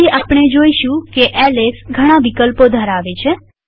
પછી આપણે જોઈશું કે એલએસ ઘણા વિકલ્પો ધરાવે છે